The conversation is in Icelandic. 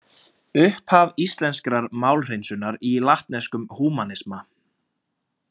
Upphaf íslenskrar málhreinsunar í latneskum húmanisma.